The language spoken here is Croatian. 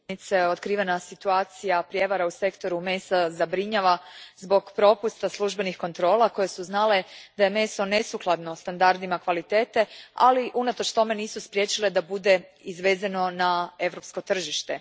Gospođo predsjednice, otkrivena situacija prijevara u sektoru mesa zabrinjava zbog propusta službenih kontrola koje su znale da je meso nesukladno standardima kvalitete, ali unatoč tome nisu spriječile da bude izvezeno na europsko tržište.